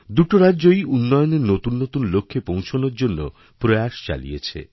দুটি রাজ্যই উন্নয়নের নতুন নতুন লক্ষ্যে পৌঁছনোর জন্যপ্রয়াস চালিয়েছে